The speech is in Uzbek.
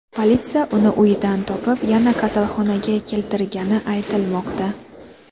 Politsiya uni uydan topib, yana kasalxonaga keltirgani aytilmoqda.